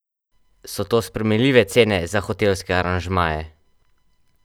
So to sprejemljive cene za hotelske aranžmaje?